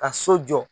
Ka so jɔ